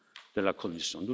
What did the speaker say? de la Commission